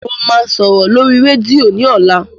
Mo máa sòrò lórí rẹ́díò ní ọ̀la.